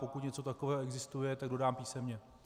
Pokud něco takového existuje, tak dodám písemně.